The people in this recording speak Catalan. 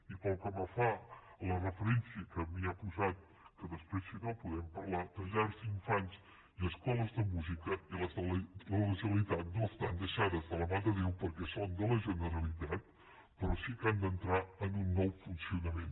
i pel que fa a la referència que m’ha posat que després si no en podem parlar de llars d’infants i escoles de música les de la generalitat no estan deixades de la mà de déu perquè són de la generalitat però sí que han d’entrar en un nou funcionament